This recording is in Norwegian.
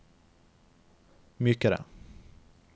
mykere